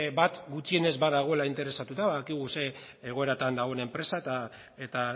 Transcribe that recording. bat gutxienez badagoela interesatuta badakigu ze egoeratan dagoen enpresa eta